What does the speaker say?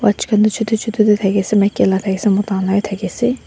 chutu chutu tae thakiase maki kan la thakiase mota khan la bi thakiase.